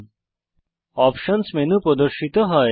options options menu প্রদর্শিত হয়